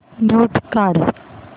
mute काढ